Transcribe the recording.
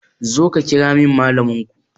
Zo ka kiramin malamin ko